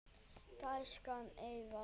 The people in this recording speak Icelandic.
Gæskan eykst.